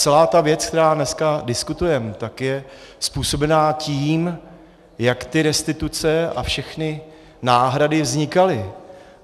Celá ta věc, kterou dneska diskutujeme, tak je způsobena tím, jak ty restituce a všechny náhrady vznikaly.